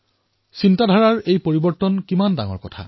এয়াইতো হল এটা চিন্তাত কিমান এক ডাঙৰ পৰিৱৰ্তন এয়াই জীৱন্ত প্ৰমাণ